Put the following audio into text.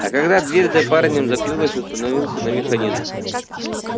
а когда дверь за парнем закрылась установился на механизм